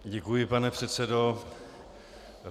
Děkuji, pane předsedo.